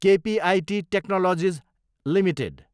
KPIT Technologies Ltd